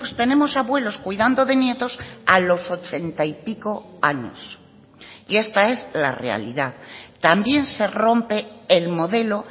tenemos abuelos cuidando de nietos a los ochenta y pico años y esta es la realidad también se rompe el modelo